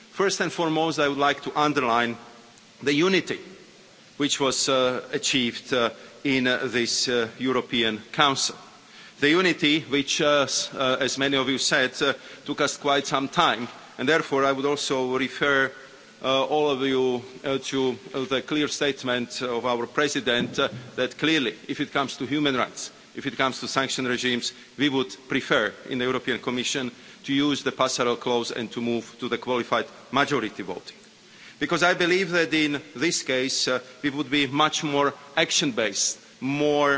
First and foremost, I would like to underline the unity which was achieved in this European Council the unity which, as many of you said, took us quite some time. Therefore, I would also refer all of you to the clear statement of our President that, clearly, if comes to human rights and to sanction regimes, we would prefer in the Commission to use the passerelle clause and to move to the qualified majority vote, because I believe that in this case we would be much more action based, more